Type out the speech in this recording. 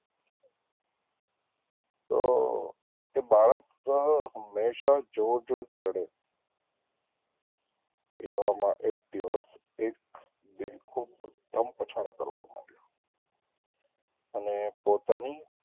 તો તે બાળક હંમેશા જોર જોરથી રડે એવામાં એક દિવસ એક બેખુબ ધમ પછાડા કરવાં માળ્યો અને પોતાની,